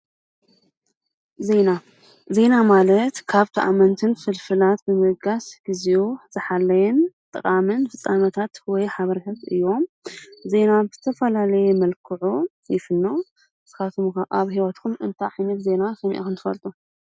ዜና ዜና ማለት ካብ ተኣመንትን ፍልፍላት ብምብጋስ ግዚኡ ዝሓለወ ጠቃምን ፍፃመታት ወይ ሓበሬታታት እዮም:: ዜና ብዝተፈላላየ መልክዑ ይፍኖ ንስካትኩም ከ ኣብ ሂወትኩም እንታይ ዓይነት ዜና ሰሚዕኩም ትፈልጡ?